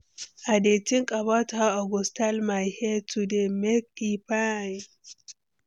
I dey think about how I go style my hair today, make e fine.